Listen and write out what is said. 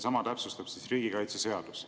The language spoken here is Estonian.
Sama täpsustab riigikaitseseadus.